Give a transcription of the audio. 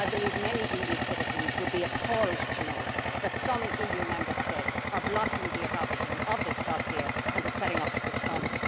I believe many EU citizens would be appalled to know that some Member States are blocking the adoption of this dossier and the setting up of this fund.